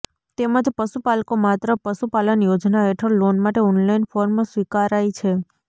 તેમજ પશુપાલકો માત્ર પશુપાલન યોજના હેઠળ લોન માટે ઓનલાઈન ફોર્મ સ્વીકારાઈ છે